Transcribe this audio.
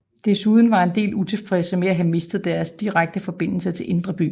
Desuden var en del utilfredse med at have mistet deres direkte forbindelser til Indre By